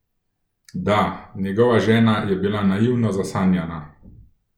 Da, njegova žena je bila naivno zasanjana.